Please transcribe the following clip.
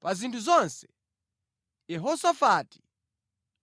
Pa zinthu zonse, Yehosafati